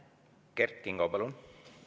Kert Kingo, palun!